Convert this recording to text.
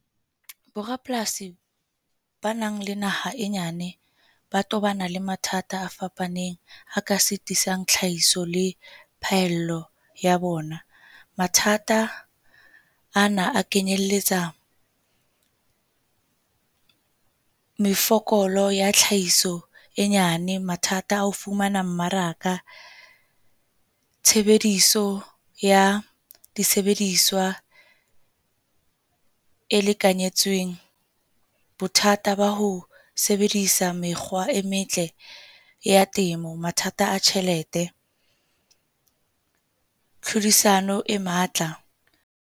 Bo rapolasi ba nang le naha e nyane, ba tobana le mathata a fapaneng a ka sitisang tlhahiso le phaello ya bona. Mathata ana a kenyelletsa mefokolo ya tlhahiso e nyane. Mathata ao fumana mmaraka, tshebediso ya disebediswa e lekanyetsweng. Bothata ba ho sebedisa mekgwa e metle ya temo, mathata a tjhelete, tlhodisano e matla.